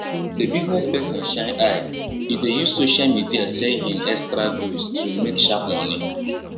the business person shine eye e dey use social media sell hin extra goods to make sharp money